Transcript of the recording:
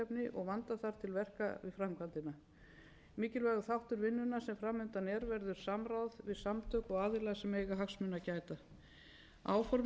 og vanda þarf til verka við framkvæmdina mikilvægur þáttur vinnunnar sem fram undan er verður samráð við samtök og aðila sem eiga hagsmuna að gæta áformað er að þegar